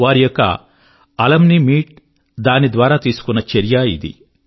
వారి యొక్క alumni meet దాని ద్వారా తీసుకున్న చర్య ఇది